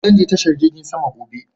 Zan je tashar jirgin sama gobe.